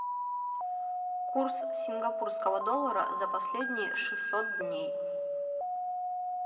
курс сингапурского доллара за последние шестьсот дней